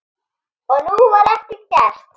Og nú var ekkert gert.